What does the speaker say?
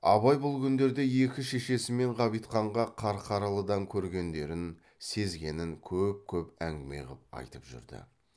абай бұл күндерде екі шешесі мен ғабитханға қарқаралыдан көргендерін сезгенін көп көп әңгіме қып айтып жүрді